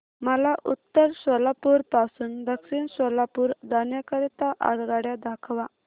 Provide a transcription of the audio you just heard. मला उत्तर सोलापूर पासून दक्षिण सोलापूर जाण्या करीता आगगाड्या दाखवा